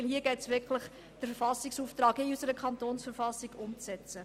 Denn hier geht es wirklich darum, den Auftrag in unserer Kantonsverfassung umzusetzen.